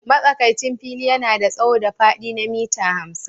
Matsakaicin fili yana da tsawo da faɗi na mita hamsin.